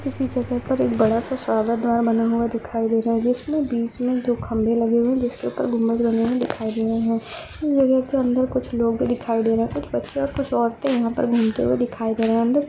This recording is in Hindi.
इसी जगह पर एक बड़ा सा सावर बना हुआ दिखाई दे रहा है जिसके बीच में जो खम्बे लगे हुए है उसके ऊपर गुबंद बने हुए दिखाई दे रहे है इस जगह के अंदर कुछ लोग भी दिखाई दे रहे है कुछ बच्चे और कुछ औरते यहां घूमते हुए दिखाई दे रहे है अंदर --